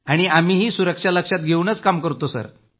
आणि आम्हीही सुरक्षा लक्षात घेवूनच काम करतोय